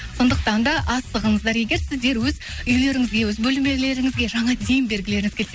сондықтан да асығыңыздар егер сіздер өз үйлеріңізге өз бөлмелеріңізге жаңа дем бергілеріңіз келсе